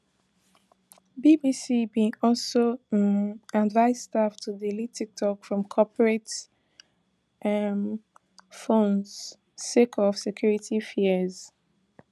bbc bin also um advise staff to delete tiktok from corporate um phones sake of security fears